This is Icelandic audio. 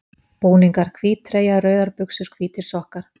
Búningar: Hvít treyja, rauðar buxur, hvítir sokkar.